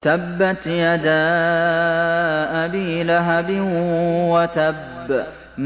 تَبَّتْ يَدَا أَبِي لَهَبٍ وَتَبَّ